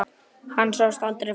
Hann sást aldrei framar.